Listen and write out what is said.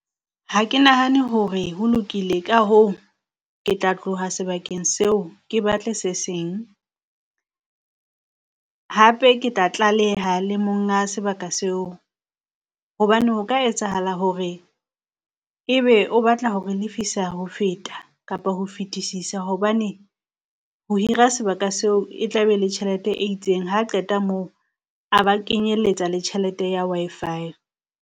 Ha ke nahane hore ho lokile ka hoo ke tla tloha sebakeng seo, ke batle se seng. Hape ke tla tlaleha le monga sebaka seo, hobane ho ka etsahala hore ebe o batla ho re lefisa ho feta, kapa ho fetisisa. Hobane ho hira sebaka seo e tla be e le tjhelete e itseng ha qeta moo a ba kenyelletsa le tjhelete ya Wi-Fi.